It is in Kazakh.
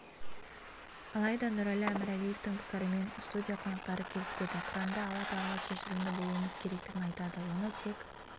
алайда нұрәлі әмірәлиевтың пікірімен студия қонақтары келіспеді құранда алла тағала кешірімді болуымыз керектігін айтады оны тек